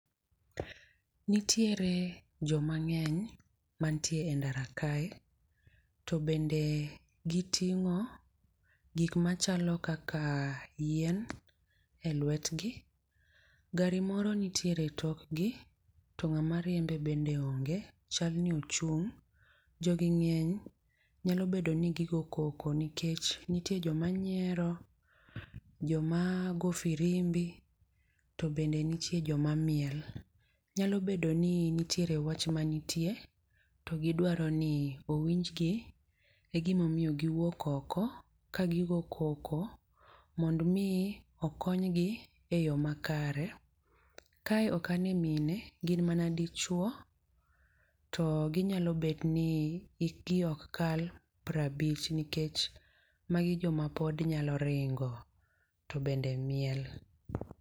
Nitiere joma ng'eny mantie e ndara kae, to bende giting'o gik machalo kaka yien, e lwetgi. Gari moro nitiere e tokgi, to ng'ama riembe bende onge. Chal ni ochung'. Jogi ng'eny, nyao bedo ni gigoyo koko, nikech nitie joma nyiero, joma go firimbi, to bende nitie joma miel. Nyalo bedo ni nitiere wach manitie to gidwaro ni owinjgi e gima omiyo giwuok oko ka gigo koko mondo omi okonygi e yo makare. Kae ok ane mine, gin mana dichwo. To ginyalo bet ni hikgi ok kal piero abich. Nikech magi joma pod nyalo ringo, to bende miel.